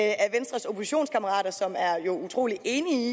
af venstres oppositionskammerater som er utrolig enige i